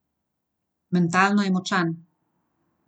Mentalno je močan.